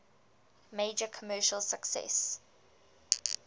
major commercial success